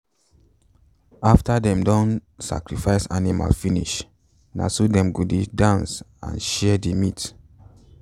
afta them don sacrifice animal finish na so them go dey dance and share the meat.